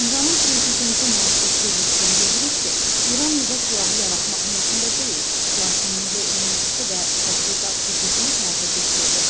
İranın prezidenti Məsud Pezeşkən bildirib ki, İran nüvə silahı yaratmaq niyyətində deyil, lakin nüvə enerjisi və tədqiqat hüququnu həyata keçirəcək.